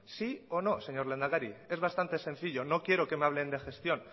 sí o no señor lehendakari es bastante sencillo no quiero que me hablen de gestión